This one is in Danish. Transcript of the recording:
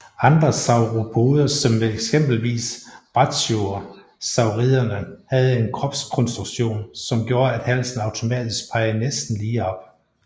Andre sauropoder som eksempelvis brachiosauriderne havde en kropskonstruktion som gjorde at halsen automatisk pegede næsten lige op